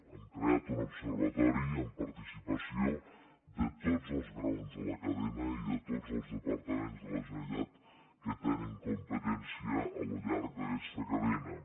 hem creat un observatori amb participació de tots els graons de la cadena i de tots els departaments de la generalitat que tenen competència al llarg d’aquesta cadena